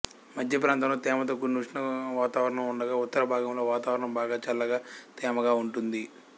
మధ్య ప్రాంతంలో తేమతోకూడిన ఉష్ణ వాతావరణం ఉండగా ఉత్తరభాగంలో వాతావరణం బాగా చల్లగా తేమగా ఉంటుంది